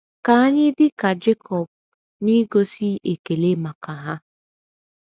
Ka anyị dị ka Jekọb n’igosi ekele maka ha.